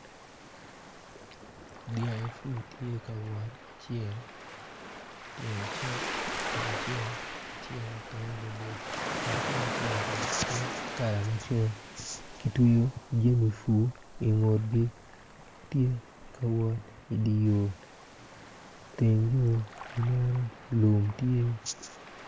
Dyangi pur tye ka wot acel tunge cek acel tunge borbor ma tunge ceki tye kala macol kitweyo jami pur ingutgi tye ka wot idi yo teng yo nen lum tye.